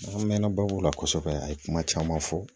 An mɛnna babu la kosɛbɛ a ye kuma caman fɔ